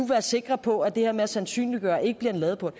være sikre på at det her med at sandsynliggøre ikke bliver en ladeport